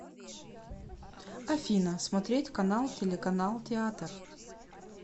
афина смотреть канал телеканал театр